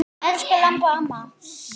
Elsku Imba amma.